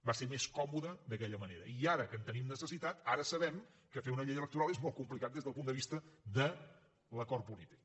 va ser més còmode d’aquella manera i ara que en tenim necessitat ara sabem que fer una llei electoral és molt complicat des del punt de vista de l’acord polític